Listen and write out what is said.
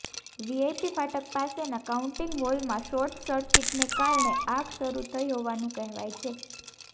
VIP ફાટક પાસેના counting હોલમાં શોર્ટ સર્કિટને કારણે આગ શરૂ થઈ હોવાનું કહેવાય છે